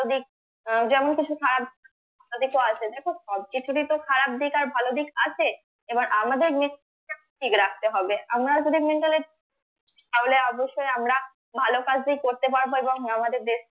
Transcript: দিক আহ যেমন কিছু খারাপ ভালো দিক আচে সব কিছুরই তো খারাপ দিক আর ভালো দিক আছে এবার আমাদের mentality টা ঠিক রাখতে হবে আমরা যদি mentality ঠিক রাখি তাহলে অবশ্যই আমরা ভালো কাজটি করতে পারবো এবং আমাদের দেশ